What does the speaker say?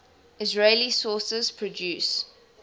israeli sources produce